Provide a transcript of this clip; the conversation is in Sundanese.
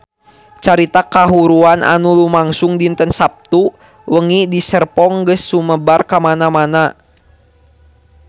Carita kahuruan anu lumangsung dinten Saptu wengi di Serpong geus sumebar kamana-mana